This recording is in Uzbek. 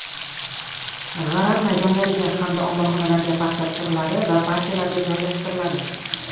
G‘aram maydonlariga hamda omborxonalarga paxta tushiriladi va partiyalarga joylashtiriladi.